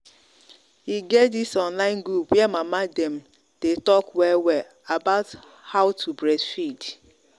e get this online group where mama dem day talk well well about how to breastfeed